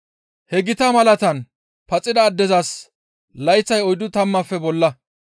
He gita malaataan paxida addezas layththay oyddu tammaafe bolla.